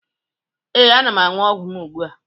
ee, ana m aṅụ ọgwụ m ugbu a